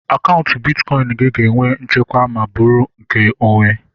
Akaụntụ bitkọin gị ga-enwe nchekwa ma bụrụ nke onwe